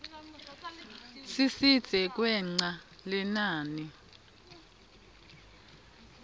sisidze kwengca lelinani